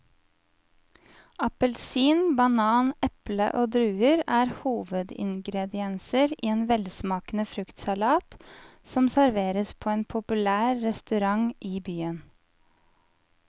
Appelsin, banan, eple og druer er hovedingredienser i en velsmakende fruktsalat som serveres på en populær restaurant i byen.